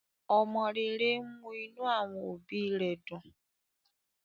omó rè rè ń mú inú àwọn òbí dùn